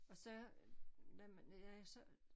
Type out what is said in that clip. Og så når man jeg så